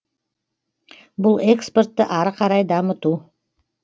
бұл экспортты ары қарай дамыту